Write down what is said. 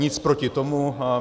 Nic proti tomu.